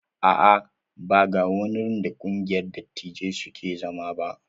A'a, ban ga wurin da ƙungiyar dattijai suke zama ba.